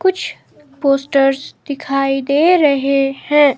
कुछ पोस्टर्स दिखाई दे रहे हैं।